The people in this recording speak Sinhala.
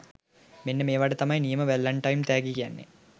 මෙන්න මේවට තමයි නියම වැලන්ටයින් තෑගි කියන්නෙ.